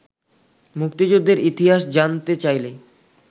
মুক্তিযুদ্ধের ইতিহাস জানতে চাইলে